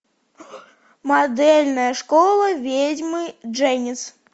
модельная школа ведьмы дженис